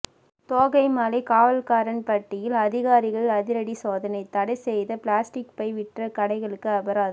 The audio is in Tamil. தோகைமலை காவல்காரன்பட்டியில் அதிகாரிகள் அதிரடி சோதனை தடை செய்த பிளாஸ்டிக் பை விற்ற கடைகளுக்கு அபராதம்